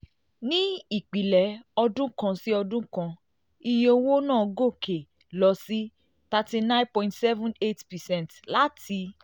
ní ìpìlẹ̀ ọdún kan sí ọdún kan iye iye owó náà gòkè lọ sí thirty nine point seven eight percent láti